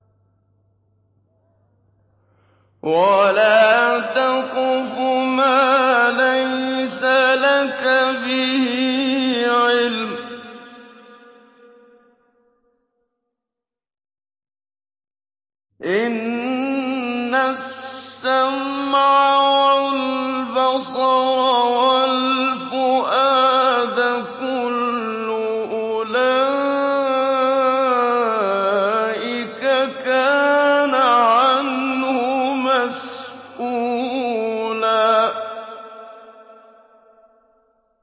وَلَا تَقْفُ مَا لَيْسَ لَكَ بِهِ عِلْمٌ ۚ إِنَّ السَّمْعَ وَالْبَصَرَ وَالْفُؤَادَ كُلُّ أُولَٰئِكَ كَانَ عَنْهُ مَسْئُولًا